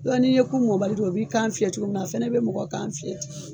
Yɔ n'i ye ku mɔnbali dun a b'i kan fiyɛ cogo min na a fɛnɛ bɛ mɔgɔ kan fiyɛ ten.